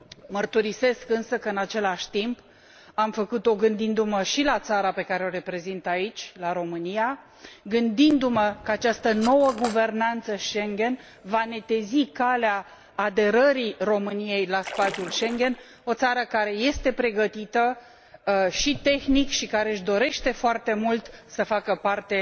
Mărturisesc, însă, că, în același timp, am făcut o gândindu mă și la țara pe care o reprezint aici, la România, gândindu mă că această nouă guvernanță Schengen va netezi calea aderării României la spațiul Schengen, o țară care este pregătită și tehnic și care își dorește foarte mult să facă parte